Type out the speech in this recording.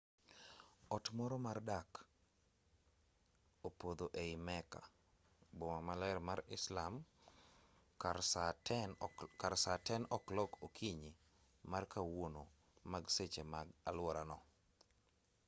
ot moro mar dak ne opodho ei mecca boma maler mar islam kar saa 10 o'clock okinyi ma kawuono mag seche ma aluorano